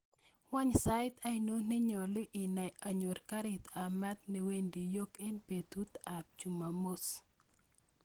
Wany sait ainon nenyolu inei anyorr karit ab maat newendi york en betut ab jumamos